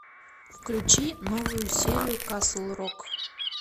включи новую серию касл рок